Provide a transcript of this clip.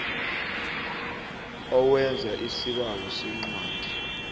owenza isibawo sencwadi